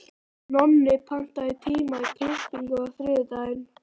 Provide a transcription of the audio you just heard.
Nonni, pantaðu tíma í klippingu á þriðjudaginn.